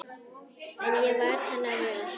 En ég varð hennar vör.